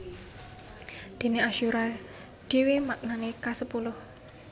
Déné asyura dhéwé maknané kasepuluh